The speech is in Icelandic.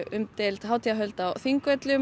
umdeild hátíðarhöld á Þingvöllum